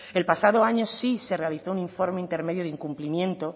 el pasado año sí se realizó un informe intermedio de incumplimiento